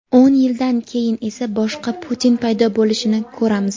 o‘n yildan keyin esa boshqa Putin paydo bo‘lishini ko‘ramiz.